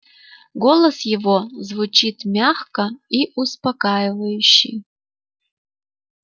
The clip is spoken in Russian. голос его звучит мягко и успокаивающий